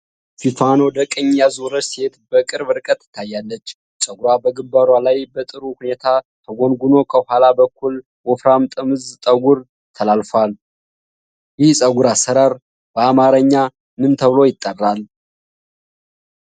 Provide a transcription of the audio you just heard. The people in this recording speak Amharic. ፊቷን ወደ ቀኝ ያዞረች ሴት በቅርብ ርቀት ትታያለች። ፀጉሯ በግምባሯ ላይ በጥሩ ሁኔታ ተጎንጉኖ ከኋላ በኩል ወፍራም ጥምዝ ጠጉር ተላላፏል። ይህ የፀጉር አሠራር በአማርኛ ምን ተብሎ ይጠራል?